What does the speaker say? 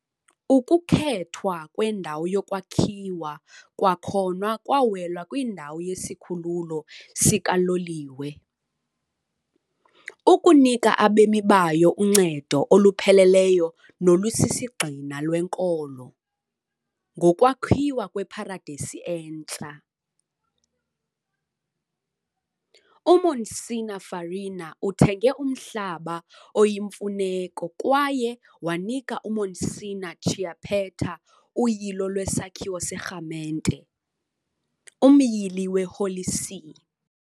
Ukukhethwa kwendawo yokwakhiwa kwakhona kwawela kwindawo yesikhululo sikaloliwe, ukunika abemi bayo uncedo olupheleleyo nolusisigxina lwenkolo, ngokwakhiwa kweparadesi entsha. UMonsignor Farina uthenge umhlaba oyimfuneko kwaye wanika uMonsignor Chiappetta uyilo lwesakhiwo serhamente, umyili weHoly See.